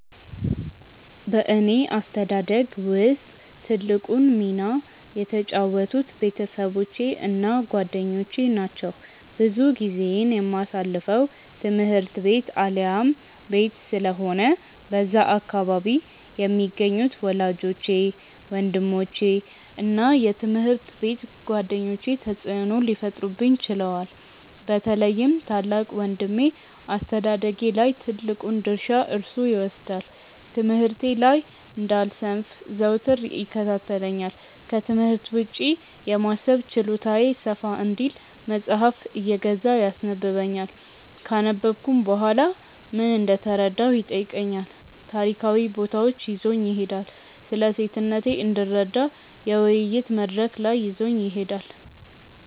በእኔ አስተዳደግ ውስጥ ትልቁን ሚና የተጫወቱት ቤተሰቦቼ እና ጓደኞቼ ናቸው። ብዙ ጊዜዬን የማሳልፈው ትምህርት ቤት አሊያም ቤት ስለሆነ በዛ አካባቢ የሚገኙት ወላጆቼ፤ ወንድሞቼ እና የትምሀርት ቤት ጓደኞቼ ተጽእኖ ሊፈጥሩብኝ ችለዋል። በተለይም ታላቅ ወንድሜ አስተዳደጌ ላይ ትልቁን ድርሻ እርሱ ይወስዳል። ትምህርቴ ላይ እንዳልሰንፍ ዘወትር ይከታተለኛል፤ ክትምህርት ውጪ የማሰብ ችሎታዬ ሰፋ እንዲል መጽሃፍ እየገዛ ያስነበብኛል፤ ካነበብኩም በኋላ ምን እንደተረዳሁ ይጠይቀኛል፤ ታሪካዊ ቦታዎች ይዞኝ ይሄዳል፤ ስለሴትነቴ እንድረዳ የውይይት መድረክ ላይ ይዞኝ ይሄዳል።